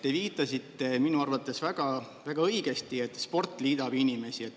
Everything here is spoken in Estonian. Te viitasite minu arvates väga õigesti, et sport liidab inimesi.